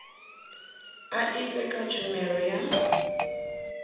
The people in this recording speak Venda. a etd kha tshumelo ya